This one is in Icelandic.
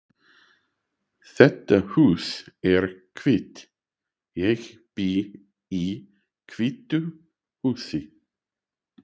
Þetta hús er hvítt. Ég bý í hvítu húsi.